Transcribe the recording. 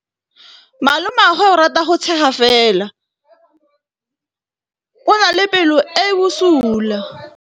Malomagwe o rata go tshega fela o na le pelo e e bosula.